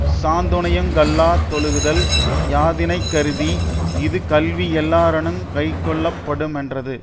சாந்துணையுங் கல்லா தொழுகுதல் யாதினைக்கருதி இது கல்வி எல்லாரானுங் கைக்கொள்ளப்படுமென்றது